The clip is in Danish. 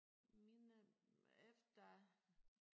Mine efter